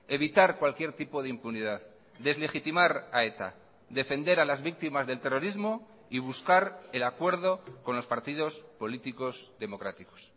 evitar cualquier tipo de impunidad deslegitimar a eta defender a las víctimas del terrorismo y buscar el acuerdo con los partidos políticos democráticos